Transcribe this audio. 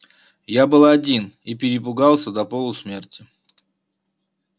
я был один и перепугался до полусмерти